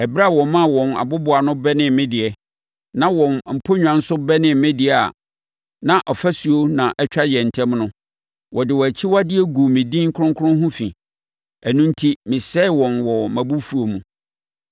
Ɛberɛ a wɔmaa wɔn aboboano bɛnee me deɛ, na wɔn aponnwa nso bɛnee me deɛ a na ɔfasuo na ɛtwa yɛn ntam no, wɔde wɔn akyiwadeɛ guu me din kronkron ho fi. Ɛno enti mesɛee wɔn wɔ mʼabufuo mu.